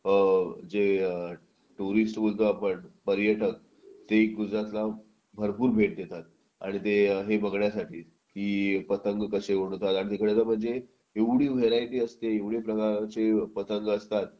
जे टूरिस्ट बोलतो आपण पर्यटक ते गुजरातला भरपूर भेट देतात आणि ते हे बघण्यासाठीच की पतंग कसे उडवतात आणि तिकडे म्हणजे एवढी व्हरायटी असते एवढे प्रकारचे पतंग असतात